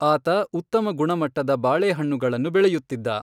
ಆತ ಉತ್ತಮ ಗುಣಮಟ್ಟದ ಬಾಳೆಹಣ್ಣುಗಳನ್ನು ಬೆಳೆಯುತ್ತಿದ್ದ.